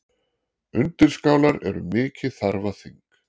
Undirskálar eru mikið þarfaþing.